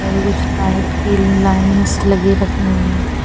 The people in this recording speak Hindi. और कुछ फ्लाईट की लाइनिंग्स लगी रखी हुई हैं।